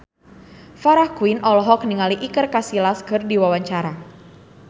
Farah Quinn olohok ningali Iker Casillas keur diwawancara